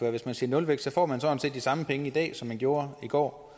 at hvis man siger nulvækst får man sådan set de samme penge i dag som man gjorde i går